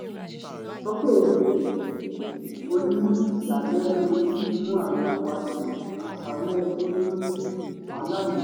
sókè oníyàlẹ́nu yìí mú ayọ̀ wá sí àṣálẹ́ tó ní wàhálà ní